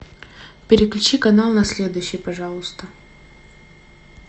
переключи канал на следующий пожалуйста